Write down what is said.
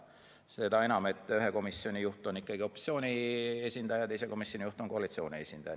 Seda enam, et ühe komisjoni juht on opositsiooni esindaja ja teise komisjoni juht on koalitsiooni esindaja.